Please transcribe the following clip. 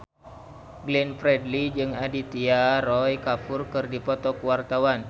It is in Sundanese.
Glenn Fredly jeung Aditya Roy Kapoor keur dipoto ku wartawan